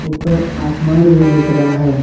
ऊपर आसमान भी दिख रहा है।